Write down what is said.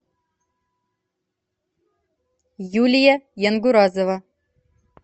юлия янгуразова